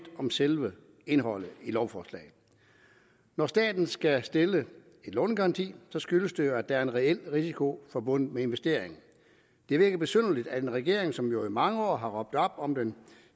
om selve indholdet i lovforslaget når staten skal stille en lånegaranti skyldes det jo at der er en reel risiko forbundet med investeringen det virker besynderligt at en regering som jo i mange år har råbt op om den